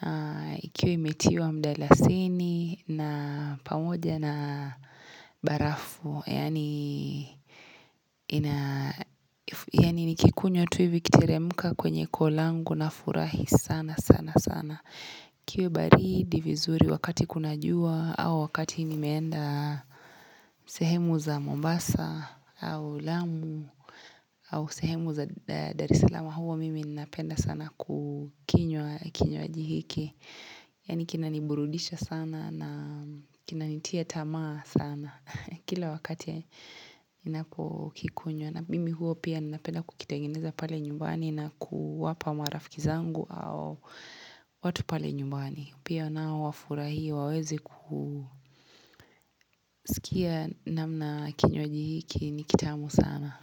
na ikiwa imetiwa mdalasini na pamoja na barafu yaani nikikunywa tu hivi ikiteremka kwenye koo langu nafurahi sana sana sana ikiwa baridi vizuri wakati kuna jua au wakati nimeenda sehemu za Mombasa au Lamu au sehemu za Darisalama huwa mimi ninapenda sana kukinywa kinywaji hiki yaani kinaniburudisha sana na kinanitia tamaa sana kila wakati ninapokikunywa na mimi huwa pia ninapenda kukitengeneza pale nyumbani na kuwapa marafiki zangu au watu pale nyumbani pia nao wafurahie waweze kusikia namna kinywaji hiki ni kitamu sana.